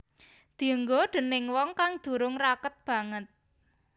Dienggo déning wong kang durung raket banget